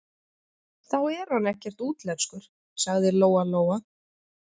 Þá er hann ekkert útlenskur, sagði Lóa-Lóa.